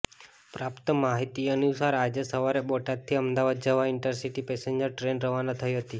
પ્રાપ્ત માહિતી અનુસાર આજે સવારે બોટાદથી અમદાવાદ જવા ઈન્ટરસિટી પેસેન્જર ટ્રેન રવાના થઈ હતી